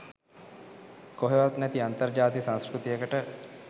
කොහේවත් නැති අන්තර් ජාතික සංස්කෘතියකට